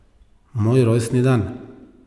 Moj rojstni dan.